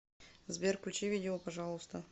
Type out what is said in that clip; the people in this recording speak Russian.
сбер включи видео пожалуйста